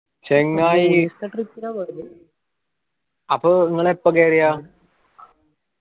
ചെങ്ങായി അപ്പൊ ഇങ്ങള് എപ്പോ കേറിയ